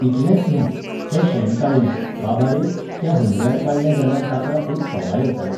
इतलेंच न्हू, तें शेण काडलें, बाबा रे, त्या हुमऱ्यार काडलें जाल्यार ताका एक सोबाय येताली.